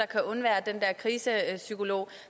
kan undvære den der krisepsykolog